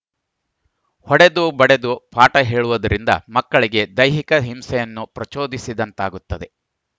ಹೊಡೆದು ಬಡೆದು ಪಾಠ ಹೇಳುವುದರಿಂದ ಮಕ್ಕಳಿಗೆ ದೈಹಿಕ ಹಿಂಸೆಯನ್ನು ಪ್ರಚೋದಿಸಿದಂತಾಗುತ್ತದೆ